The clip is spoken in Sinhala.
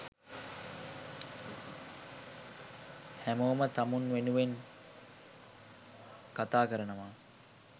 හැමෝම තමුන් වෙනුවෙන් කතාකරනවා